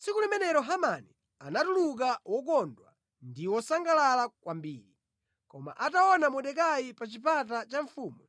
Tsiku limenelo Hamani anatuluka wokondwa ndi wosangalala kwambiri. Koma ataona Mordekai pa chipata cha mfumu